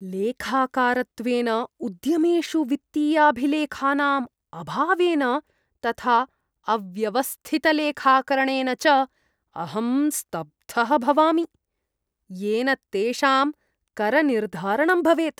लेखाकारत्वेन, उद्यमेषु वित्तीयाभिलेखानां अभावेन तथा अव्यवस्थितलेखाकरणेन च अहं स्तब्धः भवामि, येन तेषां करनिर्धारणं भवेत्।